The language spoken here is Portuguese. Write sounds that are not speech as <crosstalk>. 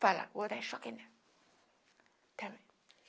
Falaram, vou dar choque nela. <unintelligible>